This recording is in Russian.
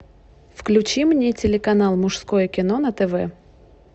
включи мне телеканал мужское кино на тв